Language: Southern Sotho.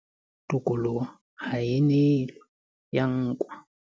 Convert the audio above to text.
Ho thwe tokoloho ha e nehelwe, e ya nkwa.